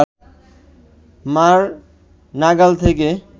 মা’র নাগাল থেকে